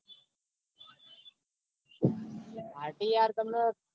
Party યાર તમન-